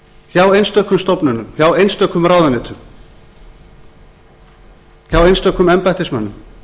hjá einstökum stofnunum hjá einstökum ráðuneytum hjá einstökum embættismönnum